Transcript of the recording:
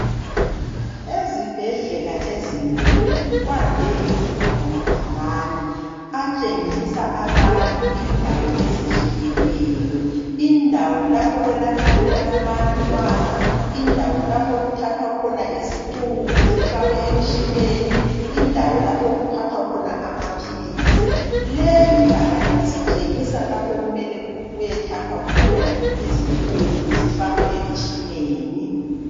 Ezibhedlela ezinkulu kwande ukuba lamabhakani atshengisa abantu indawo ezehlukeneyo. Indawo lapho okwelatshwa khona abantwana, indawo lapho okuthathwa khona izicubu zifakwe emtshineni, indawo lapho okuthathwa khona amaphilizi. Leli ibhakane lisitshengisa lapho okumele kuyethathwa khona izicubu zifakwe emtshineni.